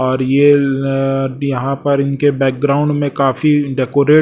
और ये ल यहां पर इनके बैकग्राउंड में काफी डेकोरेट --